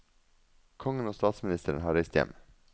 Kongen og statsministeren har reist hjem.